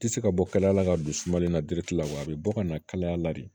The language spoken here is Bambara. Tɛ se ka bɔ kalaya la ka don sumalen na di la wa a bɛ bɔ ka na kalaya la de